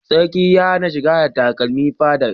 Sarki ya hana shiga da takarmi fadar